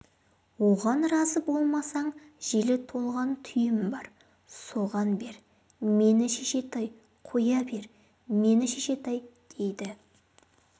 оған разы болмасаң желі толған түйем бар соған бер мені шешетай қоя бер мені шешетай дейді